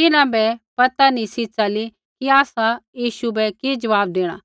तिन्हां बै पता निसी च़ली कि आसा यीशु बै कि ज़वाब देणा